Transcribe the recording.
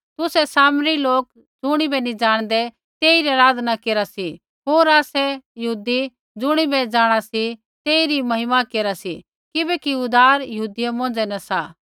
तुसै सामरी लोक ज़ुणिबै नी जाणदै तेइरी आराधना केरा सी होर आसै यहूदी ज़ुणिबै जाँणा सी तेइरी महिमा केरा सी किबैकि उद्धार यहूदी मौंझ़ै न सा